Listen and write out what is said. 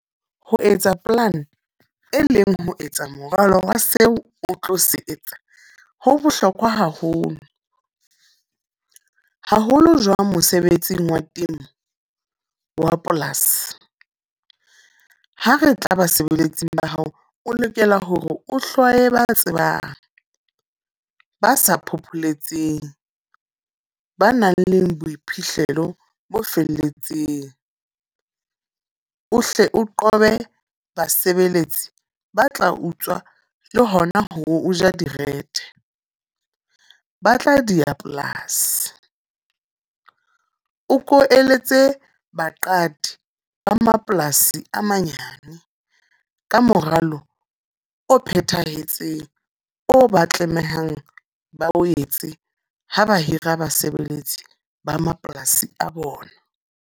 Ho etsa plan, e leng ho etsa moralowa seo o tlo se etsa. Ho bohlokwa haholo. Haholo jwang mosebetsing wa temo, wa polasi. Ha re tla basebeletsi ba hao, o lokela hore o hlwaye ba tsebang. Ba sa phopholetseng, ba nang le boiphihlelo bo felletseng. O hle o qobe basebeletsi ba tla utswa le hona ho ja direthe. Ba tla diya polasi. O ko eletse baqadi ba mapolasi a manyane ka moralo o phethahetseng, o ba tlamehang ba o etse ha ba hira basebeletsi ba mapolasi a bona.